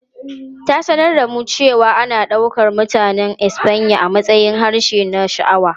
Ta sanar da mu cewa ana ɗaukar Mutanen Espanya a matsayin harshe na sha'awa.